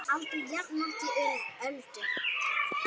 Aldrei jafnoki Öldu.